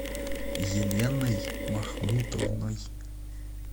еленой махмутовной